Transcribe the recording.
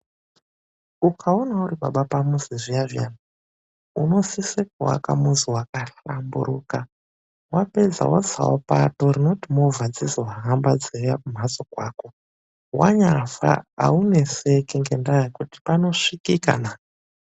UKAONA URIBABA PAMUZI ZVIYA ZVIYA, UNOSISE KUWAKA MUZI WAKAHLAMBURUKA.WAPEDZA WOTSAWO PATO INOITA KUTI MOVA DZIZOFAMBA KUUYA KUMHATSO KWAKO. WANYAFA AUNESEKI NGENDAA YEKUTI PANOSVIKIKA.